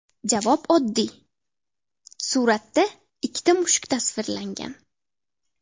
Javob oddiy: suratda ikkita mushuk tasvirlangan.